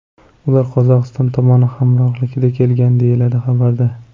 Ular Qozog‘iston tomoni hamrohligida kelgan”, deyiladi xabarda.